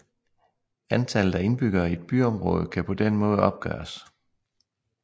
Antallet af indbyggere i et byområde kan på den måde opgøres